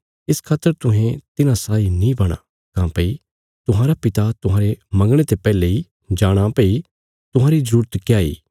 इस खातर तुहें तिन्हां साई नीं बणा काँह्भई तुहांरा पिता तुहांरे मंगणे ते पैहले इ जाणाँ भई तुहांरी जरूरत क्या इ